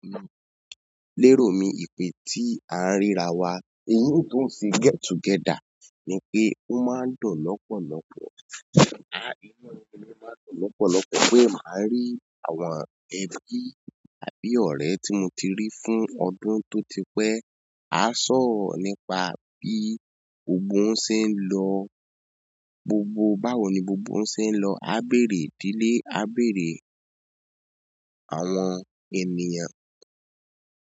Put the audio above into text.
Lérò mi, ìpè tí a ń ríra wa, eyín tó ń si get together ni pé ó máa ń dọ̀ lọ́pọ̀lọ́pọ̀. A, inú mi máa ń dùn lọ́pọ̀lọ́pọ̀ pé màá rí àwọn ẹbí àbí ọ̀rẹ́ tí mo ti rí fún ọdún tó ti pẹ́. A sọ̀rọ̀ nípa bí ogbó ń se ń lọ gbogbo, báwo ni gbogbo ń se ń lọ. A béèrè ìdílé, a béèrè àwọn ènìyàn.